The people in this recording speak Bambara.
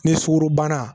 Ni sukorobana